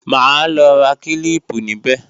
Máa lọ ra kílíìpù níbẹ̀